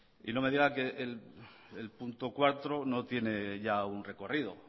y no me digan que el punto cuatro no tiene ya un recorrido